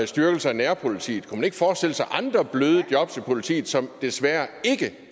styrkelse af nærpolitiet kunne man ikke forestille sig andre bløde job til politiet som desværre ikke